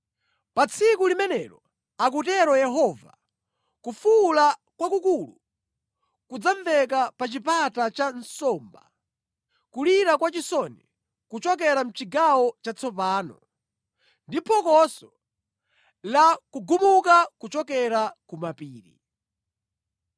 “Pa tsiku limenelo,” akutero Yehova, “Kufuwula kwakukulu kudzamveka pa Chipata cha Nsomba, kulira kwa chisoni kuchokera mʼChigawo Chatsopano, ndi phokoso la kugumuka kochokera ku mapiri.